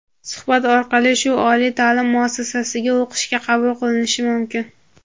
suhbat orqali shu oliy taʼlim muassasasiga o‘qishga qabul qilinishi mumkin.